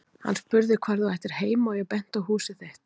Hann spurði hvar þú ættir heima og ég benti á húsið þitt.